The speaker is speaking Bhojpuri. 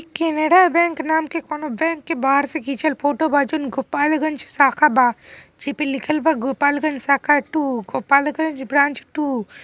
कैनरा बैंक नाम के कोनो बैंक के बाहर से खिचल फोटो बा गोपालगंज शाखा बा लिखल बा गोपालगंज शाखा टू गोपालगंज ब्रांच टू ।